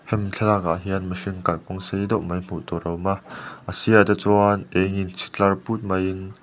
hemi thlalak ah hian mihring kalkawng sei deuh mai hmuh tur a awm a a sir ah te chuan eng in chhi tlar put mai in.